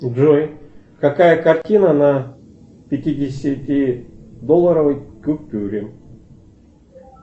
джой какая картина на пятидесяти долларовой купюре